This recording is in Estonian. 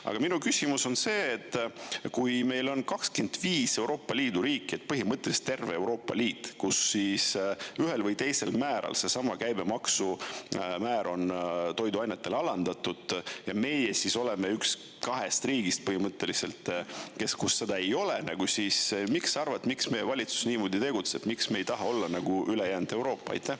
Aga minu küsimus on see, et kui meil on 25 Euroopa Liidu riiki, põhimõtteliselt terve Euroopa Liit, kus ühel või teisel määral seesama käibemaksumäär on toiduainetele alandatud, ja meie siis oleme üks kahest riigist põhimõtteliselt, kus seda ei ole, siis miks sa arvad, miks meie valitsus niimoodi tegutseb, miks me ei taha olla nagu ülejäänud Euroopa.